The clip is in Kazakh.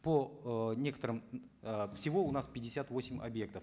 по э некоторым э всего у нас пятьдесят восемь объектов